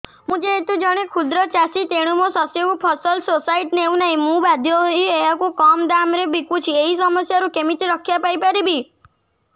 ମୁଁ ଯେହେତୁ ଜଣେ କ୍ଷୁଦ୍ର ଚାଷୀ ତେଣୁ ମୋ ଶସ୍ୟକୁ ଫସଲ ସୋସାଇଟି ନେଉ ନାହିଁ ମୁ ବାଧ୍ୟ ହୋଇ ଏହାକୁ କମ୍ ଦାମ୍ ରେ ବିକୁଛି ଏହି ସମସ୍ୟାରୁ କେମିତି ରକ୍ଷାପାଇ ପାରିବି